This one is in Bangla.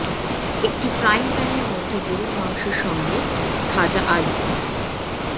একটি ফ্রাইং প্যানের মধ্যে গরুর মাংস সঙ্গে ভাজা আলু